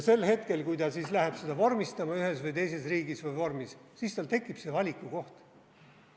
Sel hetkel, kui ta läheb seda ühes või teises riigis vormistama, siis tal tekib valikukoht.